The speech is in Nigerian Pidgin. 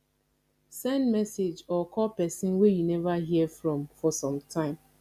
send message or call persin wey you never hear from for some time